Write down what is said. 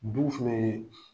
Duw fana ye